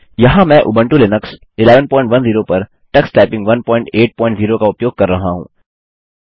यहाँ मैं Ubuntu Linux 1110 पर टक्स टाइपिंग 180 का उपयोग कर रहा हूँ